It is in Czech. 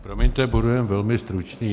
Promiňte, budu jenom velmi stručný.